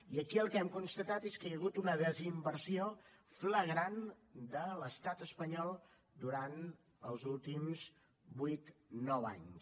i aquí el que hem constatat és que hi ha hagut una desinversió flagrant de l’estat espanyol durant els últims vuit nou anys